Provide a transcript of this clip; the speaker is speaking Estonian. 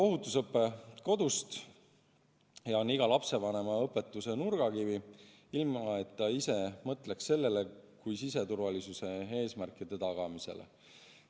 Ohutusõpe algab kodust ja on iga lapsevanema õpetuste nurgakivi, ilma et ta ise mõtleks sellele kui siseturvalisuse eesmärkide tagamisele.